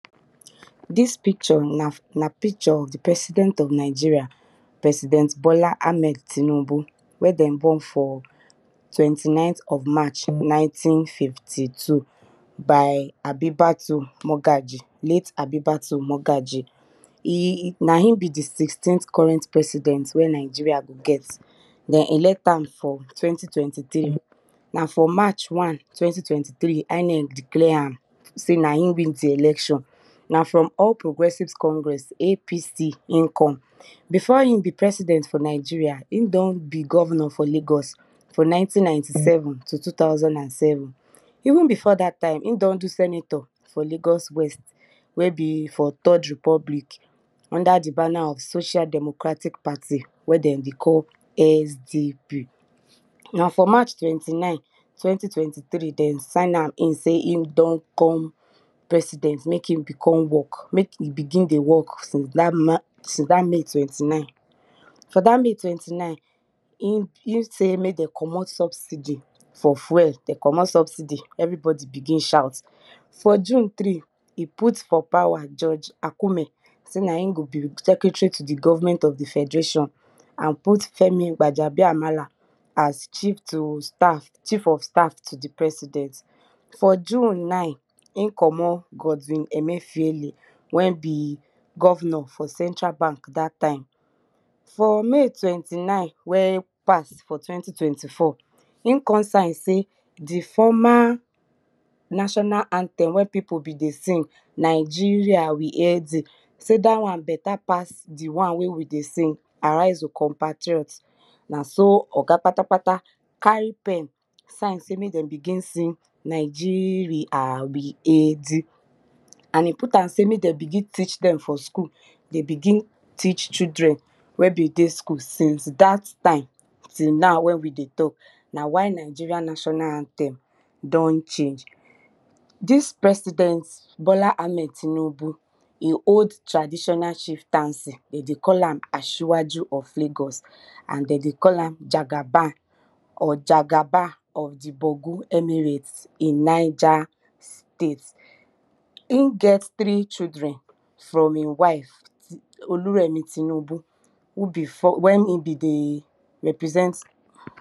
dis picture na picture with di president of Nigeria, president Bola Ahmed Tunubu wen de born for twenty nineth of march nineteen fifty- two. By late Abibatu Mogaji. Na him be di sixteenth current president wey Nigeria go get, den elect am from twenty twenty three na from march wan twenty twenty three, INEC declear am sey na em win di election na from all progressive congress APC e come. Before e be president, e don be governor for lagos for ninty ninty seven nto two thousand and seven even before dat time, e don do senator for lagos wey be for third rtepublic under di banner of social democratic party wen de dey call SDP. For march twenty nine twenty twenty thress sey dem sign am in se e don turn president mek e begin dey work since dat may twenty nine. From dat may twenty- nine, e sey mek dem commot subsidy for fuel, de commot subsidy, everybody begin shout, for june three, e put for power judge Acume sey nja e gobe secretary to di government of di federation and put Femi Wajabi amala as chief of staff as chief of staff to di president. For june nine Ekomo Godwin Emefiale wen be governor for central bank dat time for may twenty nine wen pass for twenty twenty four, e kon sign sey di formal national anthem wen pipu dey sing “Nigeria we hail thee” sey da wan beta pass di wan wey we dey sing na so oga patapata carry pen sign sey mek dem begin sing Nigeria we haid thee and e put am sey mek dem begin teach dem for school, dem begin teach children wen be dey school since dat time till now wen we dey talk na why Nigeria national anthem don change. Dis president Bola Ahmed tinubu, e old traditional chieftancy, de dey cll am asiwaji of lago and de dey cll am jagaban of di boju emirate in ninja state. E get three children oluremi tunube wen e dey represent